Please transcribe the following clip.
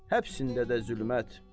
Həbsində də zülmət.